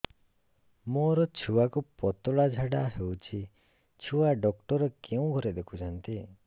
ମୋର ଛୁଆକୁ ପତଳା ଝାଡ଼ା ହେଉଛି ଛୁଆ ଡକ୍ଟର କେଉଁ ଘରେ ଦେଖୁଛନ୍ତି